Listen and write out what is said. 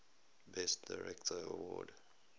best director award